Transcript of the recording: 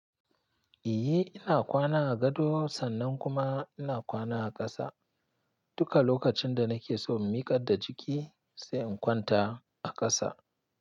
Eh, ina kwana a gado, sannan kuma ina kwana a ƙasa. Duka lokacin da nake so in miƙar da jiki, sai in kwanta a ƙasa.